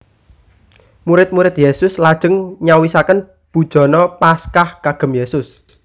Murid murid Yesus lajeng nyawisaken bujana Paskah kagem Yesus